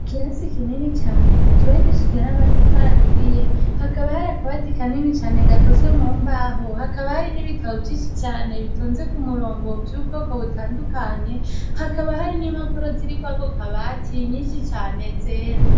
Ikirasi kinini Cane cubakishije namatafari aturiye akaba hari akabati kanini Cane gakozwe mumbaho Hakaba hari nibitabo vyinshi Cane bitonze kumurongo vyubwoko butandukanye Hakaba hari nimpapuro ziro kuri Ako kabati nyinshi cane zera.